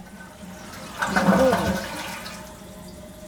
пскову